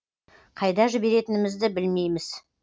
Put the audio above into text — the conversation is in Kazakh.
қайда жіберетінімізді білмейміз